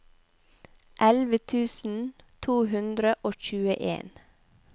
elleve tusen to hundre og tjueen